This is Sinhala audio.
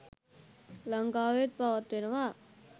ලංකාවෙත් පවත්වනවා